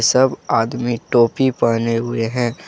सब आदमी टोपी पहने हुए हैं।